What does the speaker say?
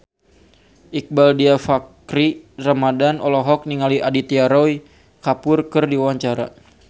Iqbaal Dhiafakhri Ramadhan olohok ningali Aditya Roy Kapoor keur diwawancara